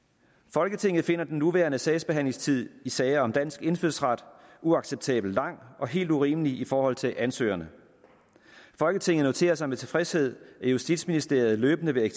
folketinget finder den nuværende sagsbehandlingstid i sager om dansk indfødsret uacceptabelt lang og helt urimelig i forhold til ansøgerne folketinget noterer sig med tilfredshed at justitsministeriet løbende vil